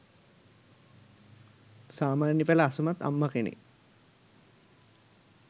සාමාන්‍ය පෙළ අසමත් අම්මා කෙනෙක්